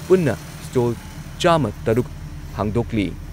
ꯄꯨꯟꯅ ꯁ꯭ꯇꯣꯜ ꯆꯥꯝꯃ ꯇꯔꯨꯛ ꯍꯥꯡꯗꯣꯛꯂꯤ